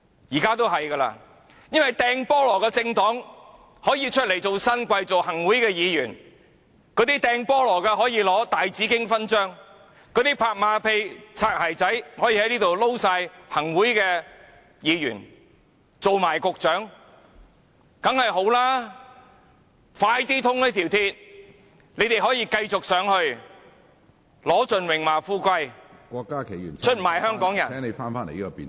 現在一個擲"菠蘿"的政黨可以成為新貴、行政會議成員，那些擲"菠蘿"的人可以獲大紫荊勳章，那些拍馬屁、"擦鞋仔"的人，可以成為行政會議成員和局長，這當然好，高鐵快點通車，讓他們可以上去享盡榮華富貴，出賣香港人......